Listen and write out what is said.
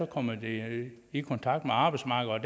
kommer de i kontakt med arbejdsmarkedet